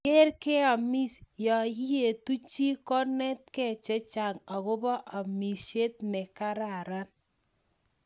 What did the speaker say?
Keeer keamiss yaa iyetuu chii koinetkee chechang agobaa amishet ne gararan